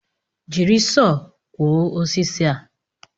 Jiri Sọọ kwọọ osisi a